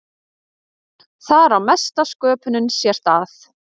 Þar á mesta sköpunin sér stað.